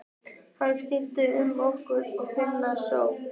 Hann skipar okkur að finna skjól.